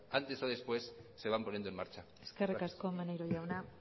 antes o después se van poniendo en marcha gracias eskerrik asko maneiro jauna